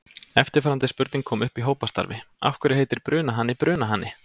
Eftirfarandi spurning kom upp í hópastarfi: Af hverju heitir brunahani brunahani?